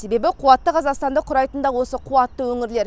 себебі қуатты қазақстанды құрайтын да осы қуатты өңірлер